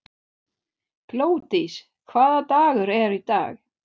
Glódís, hvaða dagur er í dag?